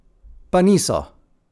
Pa niso!